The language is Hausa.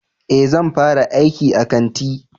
Eh zan fara aiki a kanti